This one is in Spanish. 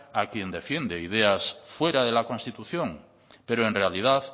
a quien defiende ideas fuera de la constitución pero en realidad